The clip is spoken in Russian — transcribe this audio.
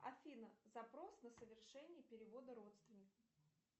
афина запрос на совершение перевода родственнику